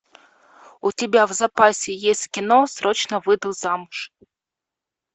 у тебя в запасе есть кино срочно выйду замуж